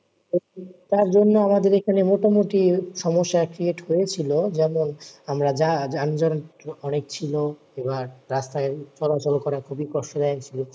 তার জন্য আমাদের এইখানে মোটামুটি সমস্যা create হয়েছিল যেমন আমরা যা যানজট অনেক ছিল এইবার রাস্তাই চলাচল করা খুবই কষ্ট দায়ক ছিল ।